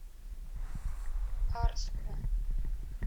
арску